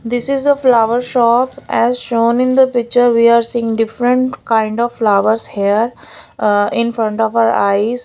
this is a flower shop as shown in the picture we are seeing different kind of flowers hear uh infront of our eyes.